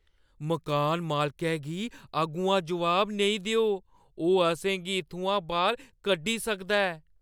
मकान मालकै गी अग्गुआं जवाब नेईं देओ। ओह् असें गी इत्थुआं बाह्‌र कड्ढी सकदा ऐ।